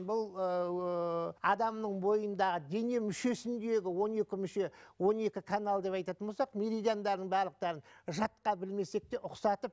бұл ыыы адамның бойындағы дене мүшесіндегі он екі мүше он екі канал деп айтатын болсақ меридиандарын барлықтарын жатқа білмесек те ұқсатып